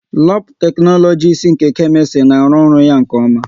Labu teknologisi nke Kemistri na arụ ọrụ ya nke oma